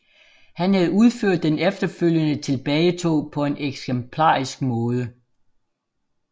Han havde udført den efterfølgende tilbagetog på en eksemplarisk måde